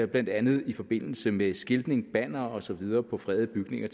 blandt andet i forbindelse med skiltning bannere og så videre på fredede bygninger